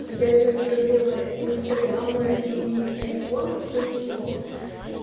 опять же проблемы инстаграма и айфона в том что